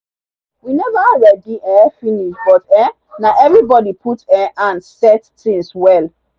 we never ready um finish but um na everybody put um hand set things well.